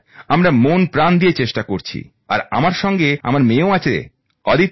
আমরা মনপ্রাণ দিয়ে চেষ্টা করছি আর আমার সঙ্গে আমার মেয়েও আছে অদিতি